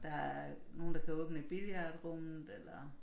Der er nogen der kan åbne billiardrummet eller